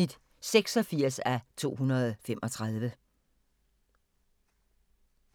02:15: Cold Case (148:156)* 03:05: Venner (85:235) 03:35: Venner (86:235)